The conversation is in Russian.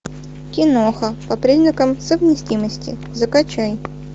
киноха по признакам совместимости закачай